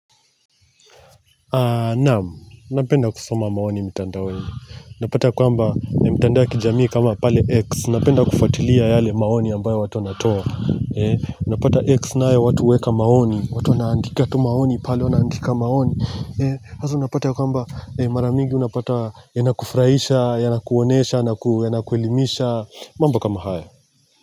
Naam, napenda kusoma maoni mtandaoni Unapata kwamba mtandao ya kijamii kama pale X napenda kufatilia yale maoni ambayo watu wanatoa Unapata X nae watu huweka maoni watu naandika tu maoni pale wanaandika maoni sasa unapata kwamba mara mingi unapata Yanakufurahisha, yanakuonesha, yanakuelimisha mambo kama haya.